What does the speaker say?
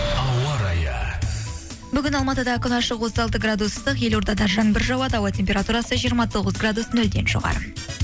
ауа райы бүгін алматыда күн ашық отыз алты градус ыстық елордада жаңбыр жауады ауа температурасы жиырма тоғыз градус нөлден жоғары